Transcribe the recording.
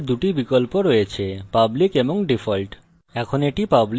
modifiers we দুটি বিকল্প রয়েছে public এবং default